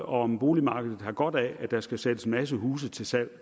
om boligmarkedet har godt af at der skal sættes en masse huse til salg